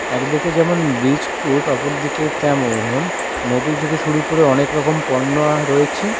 এক দিকে যেমন ব্রীজ ফুড অপরদিকে তেম-অন মধু থেকে শুরু করে অনেক রকম পণ্য আ রয়েছে।